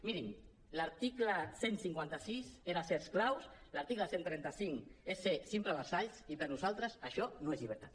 mirin l’article cent i cinquanta cinc era ser esclaus l’article cent i trenta cinc és ser simples vassalls i per nosaltres això no és llibertat